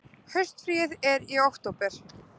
Haustfríið er í október.